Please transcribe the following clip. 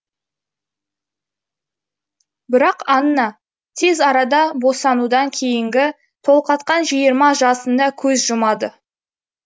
бірақ анна тез арада босанудан кейінгі толғақтан жиырма жасында көз жұмады